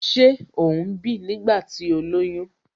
Ṣé ó ń bì nígbà tí ó lóyún?